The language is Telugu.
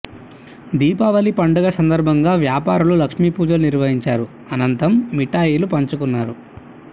దీపావళి పండగ సందర్భంగా వ్యాపారులు లక్ష్మీపూజలు నిర్వహించారు ఆనంతం మిఠాయిలు పంచుకున్నారు